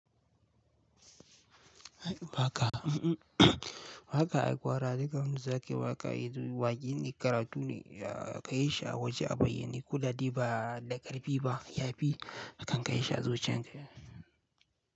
Baka, baka aikowa razika nuzake baka izuwa gini karatun ka isha waje a bayi ni kula diba da karɓi ba yafi akan ka isha zuciyarka.